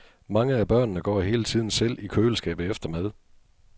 Mange af børnene går hele tiden selv i køleskabet efter mad.